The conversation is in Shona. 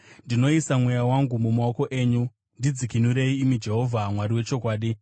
Ndinoisa mweya wangu mumaoko enyu; ndidzikinurei, imi Jehovha, Mwari wechokwadi.